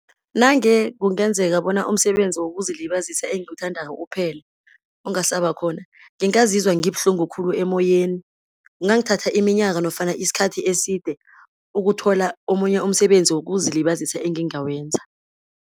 Nange kungenzeka bona umsebenzi wokuzilibazisa engiwuthandako uphele, ungasaba khona, ngingazizwa ngibuhlungu khulu emoyeni. Kungangithatha iminyaka, nofana isikhathi eside ukuthola omunye umsebenzi wokuzilibazisa engingawenza.